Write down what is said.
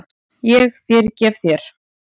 Ég fyrirgef þér.